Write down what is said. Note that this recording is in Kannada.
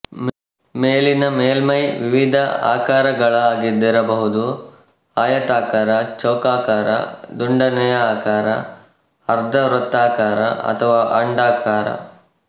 ಮೇಲಿನ ಮೇಲ್ಮೈ ವಿವಿಧ ಆಕಾರಗಳದ್ದಾಗಿರಬಹುದು ಆಯತಾಕಾರ ಚೌಕಾಕಾರ ದುಂಡನೆಯ ಆಕಾರ ಅರ್ಧ ವೃತ್ತಾಕಾರ ಅಥವಾ ಅಂಡಾಕಾರ